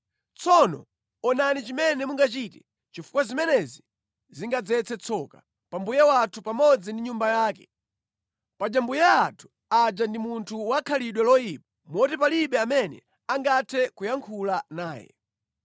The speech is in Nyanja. Tsono onani chimene mungachite, chifukwa zimenezi zingadzetse tsoka pa mbuye wathu pamodzi ndi nyumba yake. Paja mbuye athu aja ndi munthu wa khalidwe loyipa moti palibe amene angathe kuyankhula naye.”